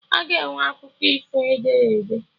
Aga enwe akụkọ ifo ederede